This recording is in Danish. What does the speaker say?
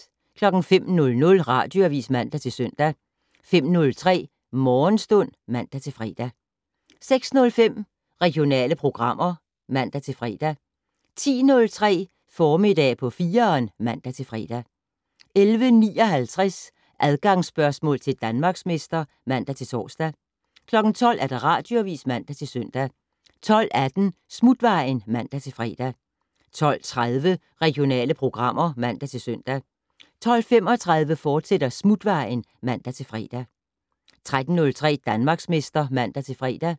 05:00: Radioavis (man-søn) 05:03: Morgenstund (man-fre) 06:05: Regionale programmer (man-fre) 10:03: Formiddag på 4'eren (man-fre) 11:59: Adgangsspørgsmål til Danmarksmester (man-tor) 12:00: Radioavis (man-søn) 12:18: Smutvejen (man-fre) 12:30: Regionale programmer (man-søn) 12:35: Smutvejen, fortsat (man-fre) 13:03: Danmarksmester (man-fre)